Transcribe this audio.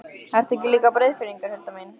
Ert þú ekki líka Breiðfirðingur, Hulda mín?